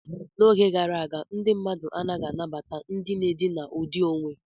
N'oge gara aga, ndị mmadụ anaghị anabata ndị na-edina ụdị onwe.